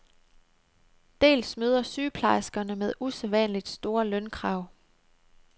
Dels møder sygeplejerskerne med usædvanligt store lønkrav.